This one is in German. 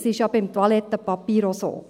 Das ist ja beim Toilettenpapier auch so.